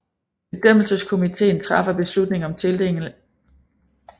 Bedømmelseskomiteen træffer beslutning om tildeling af prisen på baggrund af indstillinger